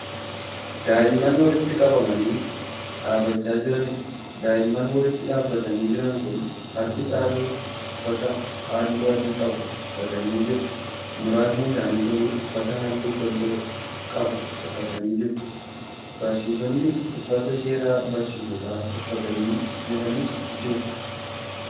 Daa'imman walitti qabamanii dhaabachaa jiraniidha. daa'immaan walitti dhaabatanii Jiran Kun harki caalu uffata halluu adii qabu uffatanii jiru. muraasni isaanii garuu uffata halluu keelloo qabu uffatanii jiru. barsiisonni uffata seeraa barsiisota uffatanii Jiranis jiru.